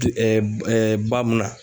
ba munna